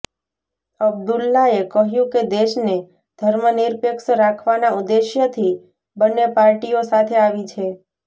અબદુલ્લાએ કહ્યું કે દેશને ધર્મનિરપેક્ષ રાખવાના ઉદ્દેશ્યથી બંન્ને પાર્ટીઓ સાથે આવી છે